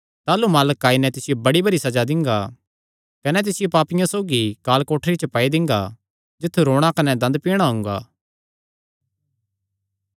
कने ऐसा बग्त जिसियो सैह़ नीं जाणदा होयैं ताह़लू सैह़ तिसियो बड़ी भरी सज़ा देई नैं कने तिसदा हिस्सा पाखंडियां सौगी ठैहरांगा तित्थु रोणा कने दंद पीणा हुंगा